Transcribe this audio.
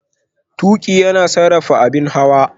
Tuƙi yana sarrafa hanyar abin hawa.